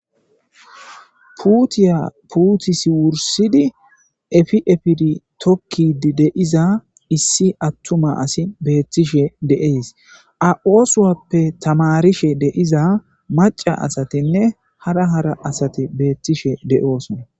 puutiya puutisi wursidi efi efidi tokki de'iza issi attuma asi beettishe deees a7oosuwappe tamarishe deiza maca asatinne hara hara asati beettishe de7oosona